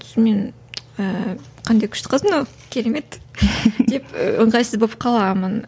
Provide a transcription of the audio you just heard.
сосын мен ііі қандай күшті қыз мынау керемет деп ыңғайсыз болып қаламын